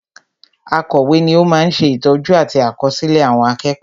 Akọ̀wé ni ó ma ń sè ìtọ́jú àti àkọsílẹ̀ àwọn akẹ́kọ̀ọ́